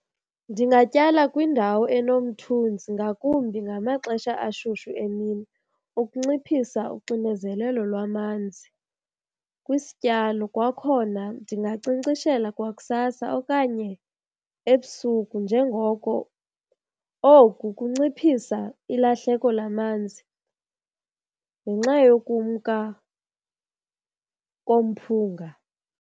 Ndingatyala kwindawo enomthunzi ngakumbi ngamaxesha ashushu emini ukunciphisa uxinezelelo lwamanzi kwisityalo. Kwakhona ndingankcenkceshela kwakusasa okanye ebusuku njengoko oku kunciphisa ilahleko lamanzi ngenxa yokumka komphunga.